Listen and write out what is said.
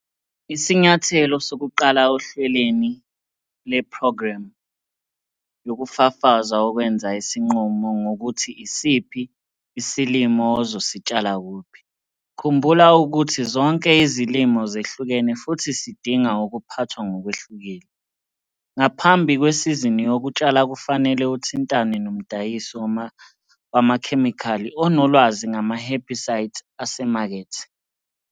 Isinyathelo sokuqala ohlelweni lweprogramu yokufafaza ukwenza isinqumo ngokuthi isiphi isilimo uzositshala kuphi. Khumbula ukuthi zonke izilimo zehlukene futhi sidinga ukuphathwa ngokwehlukile. Ngaphambi kwesizini yokutshala kufanele uthintane nomdayisi wamakhemikhali onolwazi ngama-herbicides asemakethe.